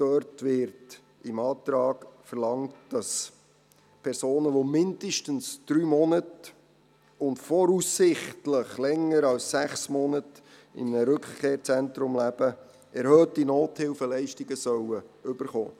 Dort wird im Antrag verlangt, dass Personen, die mindestens drei Monate und voraussichtlich länger als sechs Monate in einem Rückkehrzentrum leben, erhöhte Nothilfeleistungen erhalten sollen.